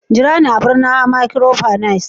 jira ni a barnawa microfinance